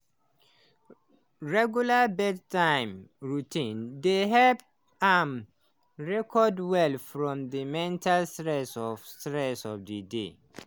regular bedtime routine dey help am recover well from the mental stress of stress of the day.